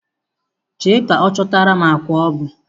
Jee ka chọtara m akwa obu.